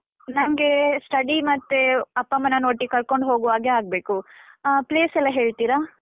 ನಂಗೆ study ಮತ್ತೆ ಅಪ್ಪಮ್ಮನನ್ನು ಒಟ್ಟಿಗೆ ಕರ್ಕೊಂಡು ಹೋಗುವ ಹಾಗೆ ಆಗ್ಬೇಕು. ಆ place ಎಲ್ಲ ಹೇಳ್ತೀರಾ?